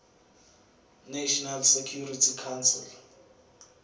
national security council